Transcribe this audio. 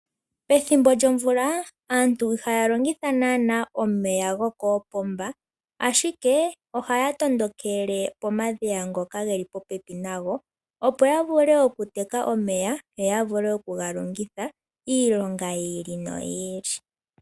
Pethimbo lyomvula aantu ihaya longitha naanaa omeya gokoopomba, ashike ohaya tondokele pomadhiya ngoka ge li popepi nayo, opo ya vule okuteka omeya yo ya vule okuga longitha iilonga yi ili noyi ili.